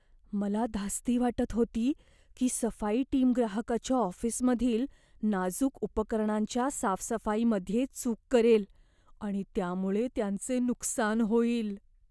मला धास्ती वाटत होती की, सफाई टीम ग्राहकाच्या ऑफिसमधील नाजूक उपकरणांच्या साफसफाईमध्ये चूक करेल आणि त्यामुळे त्यांचे नुकसान होईल.